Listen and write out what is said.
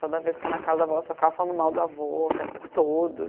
Toda vez que eu ia na casa da avó, eu só ficava falando mal do avô o tempo todo.